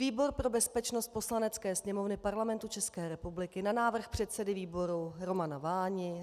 Výbor pro bezpečnost Poslanecké sněmovny Parlamentu České republiky na návrh předsedy výboru Romana Váni